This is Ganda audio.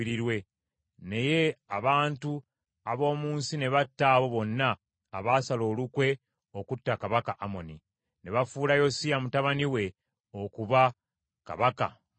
Naye Abantu ab’omu nsi ne batta abo bonna abasala olukwe okutta kabaka Amoni; ne bafuula Yosiya mutabani we okuba kabaka mu kifo kye.